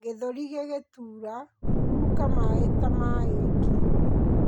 gĩthũri gigituura, huruka maĩ ta maĩ ngi